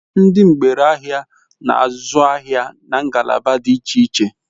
Ndi ngbere ahia n'azu ahia na ngalaba di iche iche